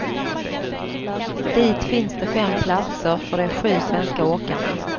Dit finns det fem platser för de sju svenska åkarna.